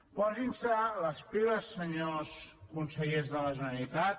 posin se les piles senyors consellers de la generalitat